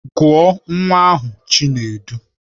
Gụọ nwa ahụ Chinedu!